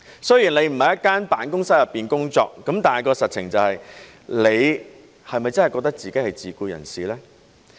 雖然你不是在一間辦公室工作，但實情是，你是否真的覺得自己是自僱人士呢？